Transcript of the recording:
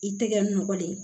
I tɛgɛ nɔ de